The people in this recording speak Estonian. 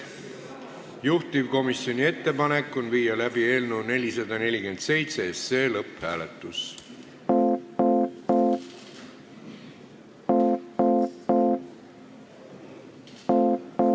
Juhtivkomisjoni ettepanek on viia läbi eelnõu 447 lõpphääletus.